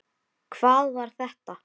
HVAÐ VAR ÞETTA?